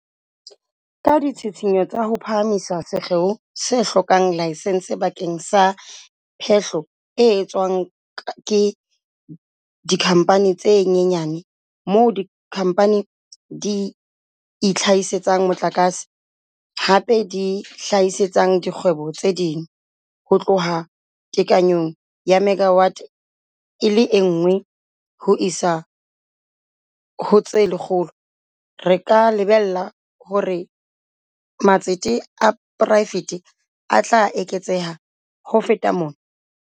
Ka ditshitshinyo tsa ho phahamisa sekgeo se hlokang laesense bakeng sa phehlo e etswang ke dikhampani tse nyenyane - moo dikhampani di itlha-hisetsang motlakase, hape di hlahisetsang dikgwebo tse ding - ho tloha tekanyong ya megawate e le nngwe ho isa ho tse lekgolo, re ka lebella hore matsete a poraefete a tla eketseha ho feta mona.